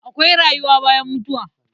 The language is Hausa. Akwai rayuwa bayan mutuwa.